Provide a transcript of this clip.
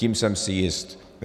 Tím jsem si jist.